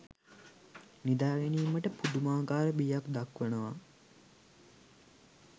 නිදා ගැනීමට පුදුමාකාර බියක් දක්වනවා.